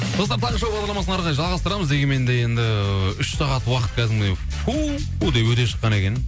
достар таңғы шоу бағдарламасын әрі қарай жалғасытрамыз дегенмен де енді үш сағат уақыт кәдімгідей фу деп өте шыққан екен